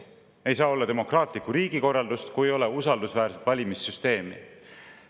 Ei saa olla demokraatlikku riigikorraldust, kui ei ole usaldusväärset valimissüsteemi.